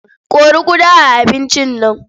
Kori ƙuda a abincin nan.